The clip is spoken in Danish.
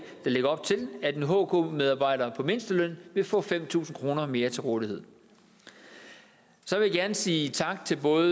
der lægger op til at en hk medarbejder på mindsteløn vil få fem tusind kroner mere til rådighed så vil jeg gerne sige tak til både